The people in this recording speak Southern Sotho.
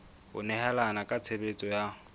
ho nehelana ka tshebeletso ya